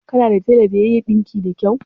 Kana da tela da ya iya ɗinki da kau?